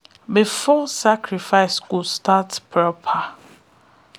before sacrifice go start proper